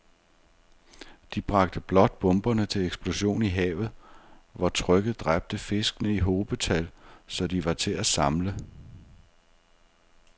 De bragte blot bomberne til eksplosion i havet, hvor trykket dræbte fiskene i hobetal, så de var til at samle